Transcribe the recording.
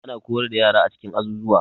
Ana koyar da yara a cikin azuzuwa.